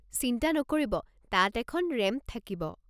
চিন্তা নকৰিব, তাত এখন ৰেম্প থাকিব।